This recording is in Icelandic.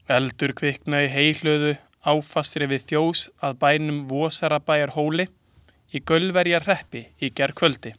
Eldur kviknaði í heyhlöðu, áfastri við fjós að bænum Vorsabæjarhóli í Gaulverjabæjarhreppi í gærkvöldi.